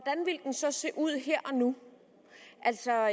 så se ud her og nu altså